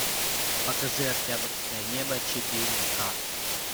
покажи октябрьское небо четыре ка